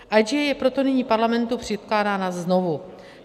IGA je proto nyní Parlamentu předkládána znovu.